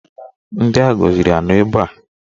Ndị agọziri anọ ebe a?